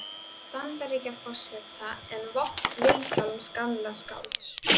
Bandaríkjaforseta en vopn Vilhjálms gamla skálds.